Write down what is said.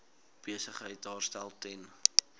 besigheid daarstel ten